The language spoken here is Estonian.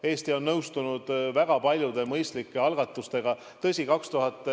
Eesti on nõustunud väga paljude mõistlike algatustega.